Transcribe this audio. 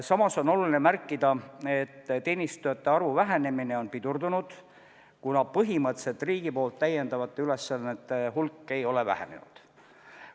Samas on oluline märkida, et teenistujate arvu vähenemine on pidurdunud, kuna põhimõtteliselt riigi poolt täidetavate ülesannete hulk ei ole vähenenud.